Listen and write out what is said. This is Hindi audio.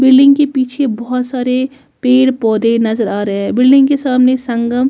बिल्डिंग के पीछे बहुत सारे पेड़ पौधे नज़र आ रहे है बिल्डिंग के सामने संगम --